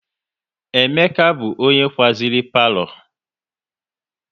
Emeka bụ onye kwaziri palo